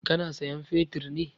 Ka na sayan fetir ne?